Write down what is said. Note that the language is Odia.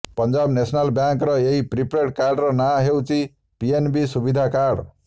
ପଞ୍ଜାବ ନ୍ୟାସନାଲ ବ୍ୟାଙ୍କର ଏହି ପ୍ରିପେଡ଼ କାର୍ଡ଼ର ନାଁ ହେଉଛି ପିଏନବି ସୁବିଧା କାର୍ଡ଼